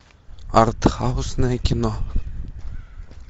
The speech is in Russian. артхаусное кино